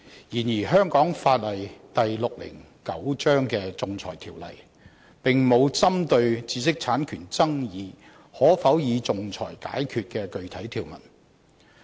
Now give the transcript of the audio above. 然而，香港法例第609章的《仲裁條例》，並無針對知識產權爭議可否以仲裁解決的具體條文。